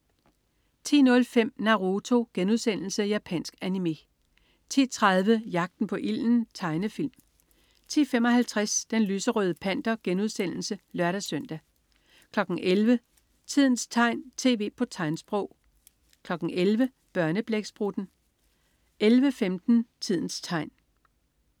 10.05 Naruto.* Japansk animé 10.30 Jagten på ilden. Tegnefilm 10.55 Den lyserøde Panter* (lør-søn) 11.00 Tidens tegn, tv på tegnsprog 11.00 Børneblæksprutten 11.15 Tidens tegn